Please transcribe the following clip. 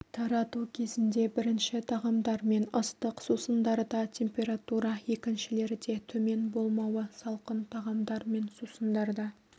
тарату кезінде бірінші тағамдар мен ыстық сусындарда температура екіншілерде төмен болмауы салқын тағамдар мен сусындарда